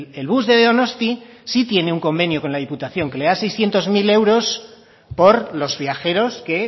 el bus de donosti sí tiene un convenio con la diputación que le da seiscientos mil euros por los viajeros que